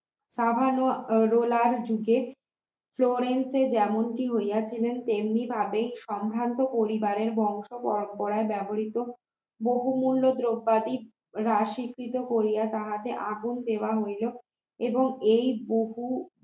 যেমনটি হইয়াছিলেন তেমনি ভাবে সম্ভ্রান্ত পরিবারের বংশ পরম্পরায় ব্যবহৃত বহুমূল্য দ্রব্যাদি রাশিকৃত করিয়া তাহাতে আগুন দেওয়া হইল এবং এই বহু